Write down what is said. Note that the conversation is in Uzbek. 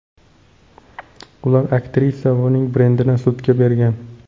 Ular aktrisa va uning brendini sudga bergan.